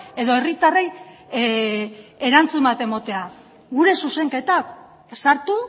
edo herritarrei erantzun bat ematea gure zuzenketak sartu